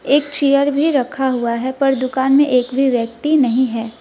एक चेयर भी रखा हुआ है पर दुकान में एक भी व्यक्ति नहीं है।